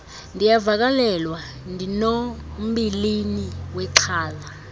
ndiyavakalelwa ndinombilini wexhala